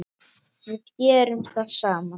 Við gerum það saman.